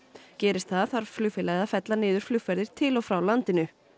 gerist það þarf flugfélagið að fella niður flugferðir til og frá landinu